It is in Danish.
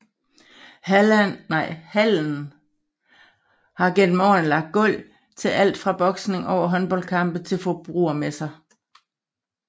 Hallen har gennem årene lagt gulv til alt fra boksning over håndboldkampe til forbrugermesser